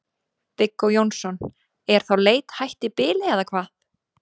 Viggó Jónsson: Er þá leit hætt í bili eða hvað?